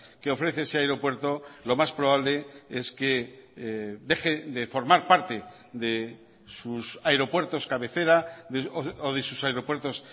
que ofrece ese aeropuerto lo más probable es que deje de formar parte de sus aeropuertos cabecera o de sus aeropuertos